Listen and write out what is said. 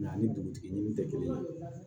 ani dugutigi ninnu tɛ kelen ye